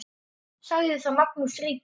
Sagði þá Magnús ríki